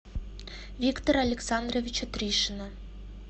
виктора александровича тришина